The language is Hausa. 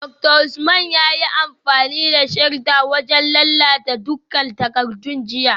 Dr Usman yayi amfani da shredder wajen lalata dukkan takardun jiya